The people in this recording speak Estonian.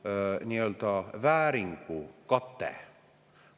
Sellel sõnal puudub vääringu kate.